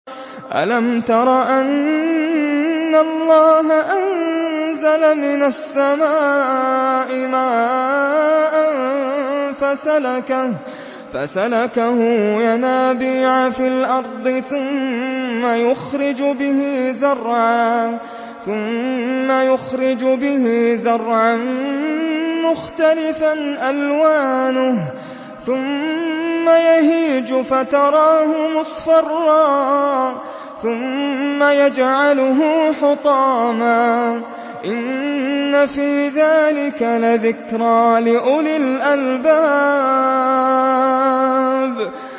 أَلَمْ تَرَ أَنَّ اللَّهَ أَنزَلَ مِنَ السَّمَاءِ مَاءً فَسَلَكَهُ يَنَابِيعَ فِي الْأَرْضِ ثُمَّ يُخْرِجُ بِهِ زَرْعًا مُّخْتَلِفًا أَلْوَانُهُ ثُمَّ يَهِيجُ فَتَرَاهُ مُصْفَرًّا ثُمَّ يَجْعَلُهُ حُطَامًا ۚ إِنَّ فِي ذَٰلِكَ لَذِكْرَىٰ لِأُولِي الْأَلْبَابِ